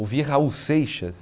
Ouvir Raul Seixas.